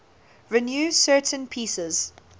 renew certain pieces